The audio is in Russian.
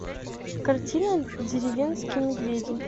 картина деревенские медведи